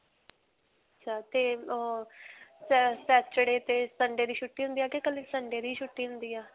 ਤੇ ਅਅ saturday ਤੇ sunday ਦੀ ਛੁੱਟੀ ਹੁੰਦੀ ਹੈ ਕਿ ਕੱਲੀ sunday ਦੀ ਹੀ ਛੁੱਟੀ ਹੁੰਦੀ ਹੈ.